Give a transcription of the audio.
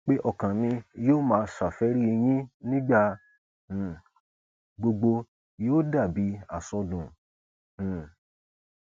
pé ọkàn mi yóò máa ṣàfẹrí yín nígbà um gbogbo yóò dà bíi àsọdùn um